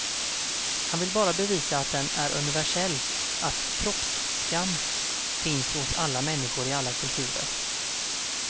Han vill bara bevisa att den är universell, att kroppsskam finns hos alla människor i alla kulturer.